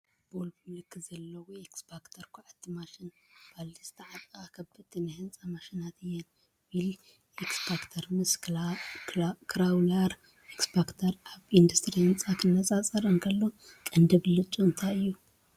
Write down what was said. ቮልቮ ምልክት ዘለዎ ኤክስቫተር ኳዕቲ ማሽን ። ባልዲ ዝተዓጠቓ ከበድቲ ናይ ህንጻ ማሽናት እየን። "ዊል ኤክስካቫተር" ምስ "ክራውለር ኤክስካቫተር" ኣብ ኢንዱስትሪ ህንጻ ክነጻጸር እንከሎ ቀንዲ ብልጫኡ እንታይ እዩ?